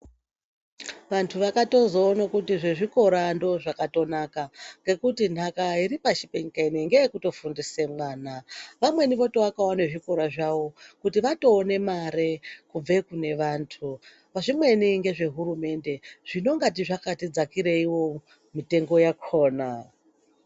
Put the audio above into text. Vanthu vakatozoona kuti zvezvikora ndozvakatonaka ngekuti nhaka iri pashi penyika inoiyi ngeye kutofundisa mwana. Vamweni votovakawo nezvikora zvawo kuti vatoone mare kubva kune vanthu. Zvimweni ngezve hurumende, zvinongati zvakati dzakireiwo mitengo yakhona.